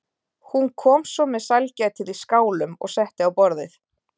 Hún kom svo með sælgætið í skálum og setti á borðið.